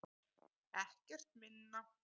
Ekkert minna!